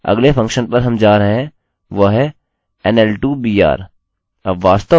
ठीक है –अगले फंक्शन पर हम जा रहे हैं वह है nl2br